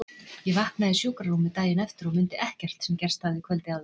Ég vaknaði í sjúkrarúmi daginn eftir og mundi ekkert sem gerst hafði kvöldið áður.